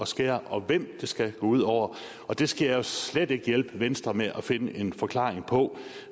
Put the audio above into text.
skære og hvem det skal gå ud over og det skal jeg slet ikke hjælpe venstre med at finde en forklaring på